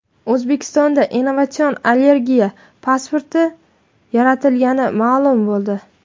O‘zbekistonda innovatsion allergiya pasporti yaratilgani ma’lum bo‘ldi.